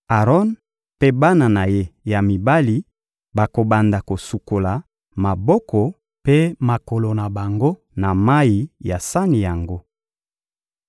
Aron mpe bana na ye ya mibali bakobanda kosukola maboko mpe makolo na bango na mayi ya sani yango.